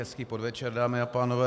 Hezký podvečer, dámy a pánové.